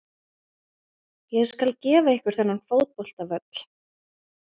Ég skal gefa ykkur þennan fótboltavöll.